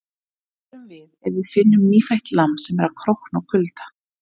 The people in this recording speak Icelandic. Hvað gerum við ef við finnum nýfætt lamb sem er að krókna úr kulda?